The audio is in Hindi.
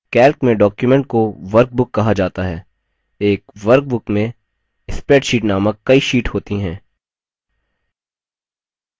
calc में document को workbook कहा जाता है एक workbook में spreadsheets नामक कई sheets होती हैं